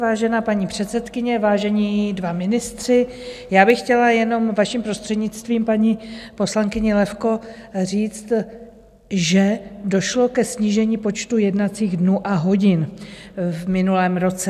Vážená paní předsedkyně, vážení dva ministři, já bych chtěla jenom vaším prostřednictvím paní poslankyni Levko říct, že došlo ke snížení počtu jednacích dnů a hodin v minulém roce.